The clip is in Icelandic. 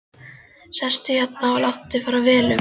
Sestu hérna og láttu fara vel um þig!